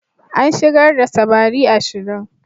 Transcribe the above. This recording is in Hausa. An shigar da samari ashirin.